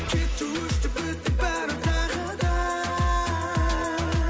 кетті өшті бітті бәрі тағы да